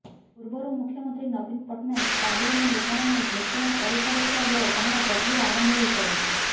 ପୂର୍ବରୁ ମୁଖ୍ୟମନ୍ତ୍ରୀ ନବୀନ ପଟ୍ଟନାୟକ ଷ୍ଟାଡିୟମ ନିର୍ମାଣ ନେଇ ଘୋଷଣା କରିସାରିଥିବା ବେଳେ ଏହାର ପ୍ରକ୍ରିୟା ଆରମ୍ଭ ହୋଇସାରିଛି